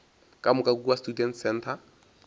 ka moka kua students centre